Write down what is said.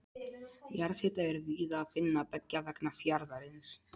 Jarðhita er víða að finna beggja vegna fjarðarins.